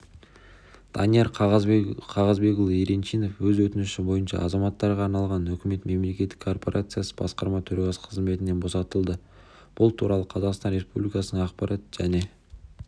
данияр қағазбекұлы еренчинов өз өтініші бойынша азаматтарға арналған үкімет мемлекеттік корпорациясы басқарма төрағасы қызметінен босатылды бұл туралы қазақстан республикасының ақпарат және